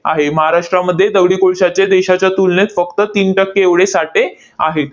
आहे. महाराष्ट्रामध्ये दगडी कोळशाचे देशाच्या तुलनेत फक्त तीन टक्के एवढे साठे आहेत.